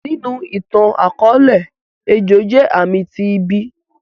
Ninu ìtan-akọọlẹ, ejo jẹ aami ti ibi.